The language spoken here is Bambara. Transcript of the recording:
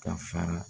Ka fara